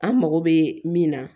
An mago bɛ min na